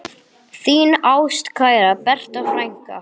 Þín ástkæra Berta frænka.